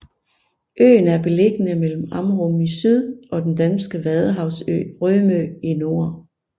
Øen er beliggende mellem Amrum i syd og den danske vadehavsø Rømø i nord